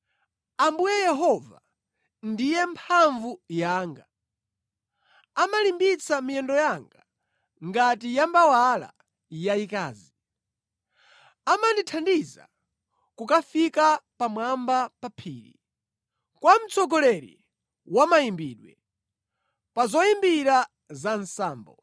Ambuye Yehova ndiye mphamvu yanga; amalimbitsa miyendo yanga ngati ya mbawala yayikazi, amandithandiza kukafika pamwamba pa phiri. Kwa mtsogoleri wa mayimbidwe. Pa zoyimbira za nsambo.